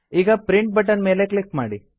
ಈಗ print button ಮೇಲೆ click ಮಾಡಿ